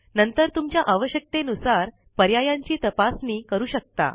नंतर तुमच्या आवश्यकते नुसार पर्यायांची तपासणी करू शकता